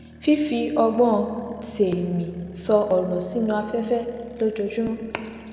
fífi ọgbón tèmí sọ òrò sínú afẹfẹ lójoojúmọ